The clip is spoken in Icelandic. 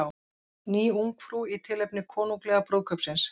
Ný Ungfrú í tilefni konunglega brúðkaupsins